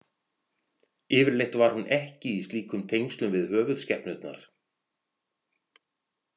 Yfirleitt var hún ekki í slíkum tengslum við höfuðskepnurnar.